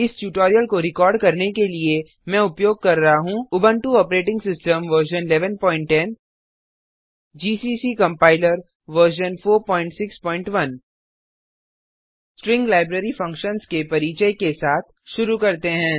इस ट्यूटोरियल को रिकॉर्ड करने के लिए मैं उपयोग कर रहा हूँ Ubuntu operating system version 1110 GCC compiler version 461 string library functions के परिचय के साथ शुरू करते हैं